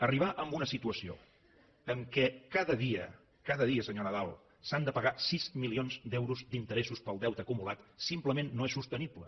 arribar a una situació en què cada dia cada dia senyor nadal s’han de pagar sis milions d’euros d’interessos pel deute acumulat simplement no és sostenible